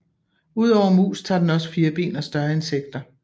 Ud over mus tager den også firben og større insekter